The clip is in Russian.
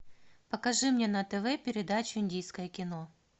покажи мне на тв передачу индийское кино